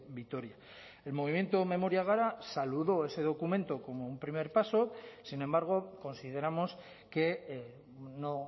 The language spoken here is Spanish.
vitoria el movimiento memoria gara saludó ese documento como un primer paso sin embargo consideramos que no